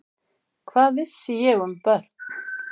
Hvað vissi ég um börn?